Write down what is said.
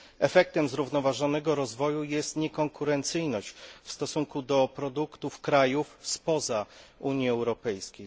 Efektem zrównoważonego rozwoju jest niekonkurencyjność w stosunku do produktów krajów spoza Unii Europejskiej.